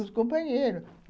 Os companheiros.